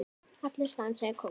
Allir dansa kónga